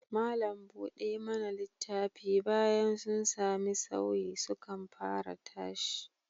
Malam buɗe mana littafi, bayan sun sami sauyi, sukan fara tashi